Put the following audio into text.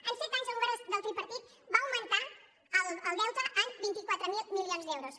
en set anys el govern del tripartit va augmentar el deute en vint quatre mil milions d’euros